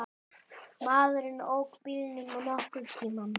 Maðurinn ók bílnum nokkurn tíma.